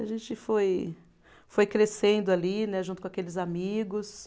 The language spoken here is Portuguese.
A gente foi foi crescendo ali né, junto com aqueles amigos,